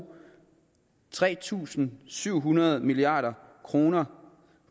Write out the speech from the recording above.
tre tusind syv hundrede milliard kroner